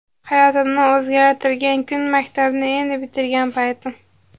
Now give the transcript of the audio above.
Hayotimni o‘zgartirgan kun Maktabni endi bitirgan paytim.